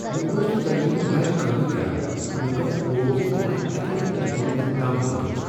مےٚ اوس نہٕ زنٛگہ ہنٛد علاج کٲمٕے کران، تہٕ مےٚ گو خوف زِ بہٕ ما ہیکہٕ نہٕ أکسِ دۄن ریتن تام پٔکتھ